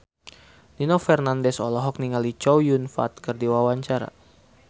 Nino Fernandez olohok ningali Chow Yun Fat keur diwawancara